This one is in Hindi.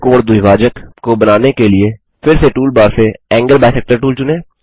दूसरा कोण द्विभाजक को बनाने के लिए फिर से टूल बार से एंगल बाइसेक्टर टूल चुनें